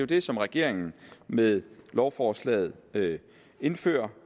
det som regeringen med lovforslaget indfører